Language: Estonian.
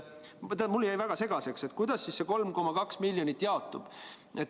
Mulle jäi väga segaseks, kuidas see 3,2 miljonit eurot jaotub.